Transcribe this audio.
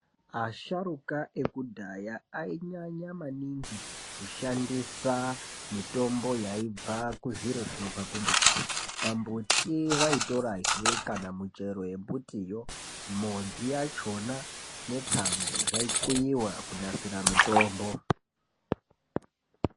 Asharuka ekudhaya ainyanya maningi kushandisa mitombo yaibva kuzviro zvinobva kumbuti. Pambuti vaitorahe kana muchero yembutiyo ,modzi yachona ,netsangu zvaikuiwa kunasira mitombo.